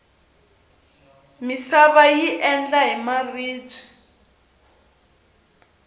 misava yi endla hi maribye